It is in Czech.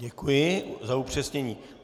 Děkuji za upřesnění.